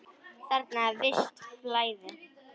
Þarna er visst flæði.